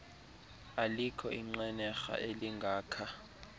alikho inqenerha elingakha